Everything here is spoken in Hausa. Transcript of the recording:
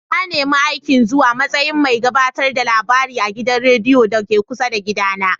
Na nemi aikin zuwa matsayin mai gabatar da labarai a gidan rediyon da ke kusa da gida na.